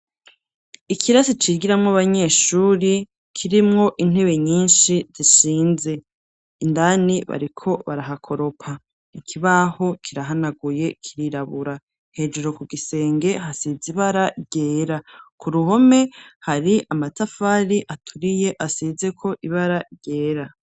Ikirasi cigiramo abanyeshuri kirimwo intebe nyinshi zishinze, indani bariko barahakoropa ikibaho kirahanaguye kirirabura hejuru ku gisenge hasize ibara ryera ku ruhome hari amatafari aturiye asizeko ibara ryera.